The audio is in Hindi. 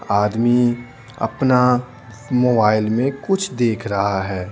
आदमी अपना मोबाइल में कुछ देख रहा है।